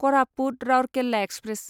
Koraput Rourkela express